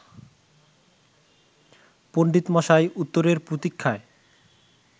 পণ্ডিতমশাই উত্তরের প্রতীক্ষায়